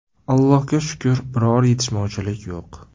Allohga shukr, biror yetishmovchilik yo‘q.